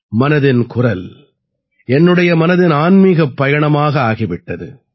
மனதின் குரல் என்னுடைய மனதின் ஆன்மீகப் பயணமாக ஆகி விட்டது